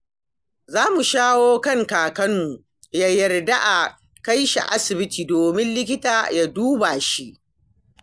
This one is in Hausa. Za mu shawo kan kakanmu ya yarda a kai shi asibiti domin likita ya duba shi.